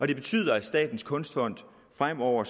det betyder at statens kunstfond fremover